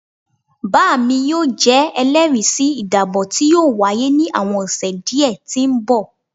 baami yoo jẹ ẹlẹri si idabo ti yoo waye ni awọn ọsẹ diẹ ti nbọ